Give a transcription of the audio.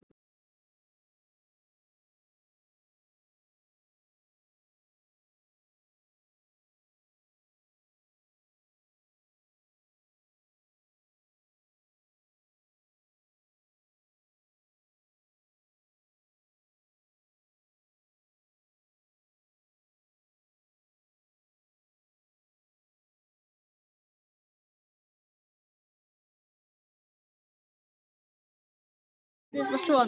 Ég hafði það svona.